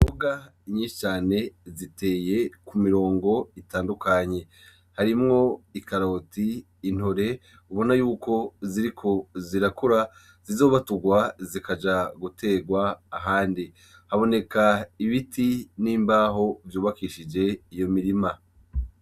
Imboga nyinshi cane ziteye kumirongo itadukanye , harimwo ikaroti , intore ubona yuko ziriko zirakura zizobaturwa zikazojwa guterwa ahandi, haboneka ibiti n'imbaho vyubakishijwe iyo mirima.